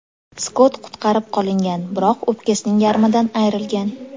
Skott qutqarib qolingan, biroq o‘pkasining yarmidan ayrilgan.